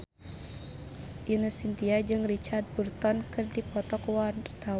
Ine Shintya jeung Richard Burton keur dipoto ku wartawan